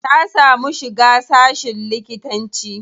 Ta samu shiga sashin likitanci.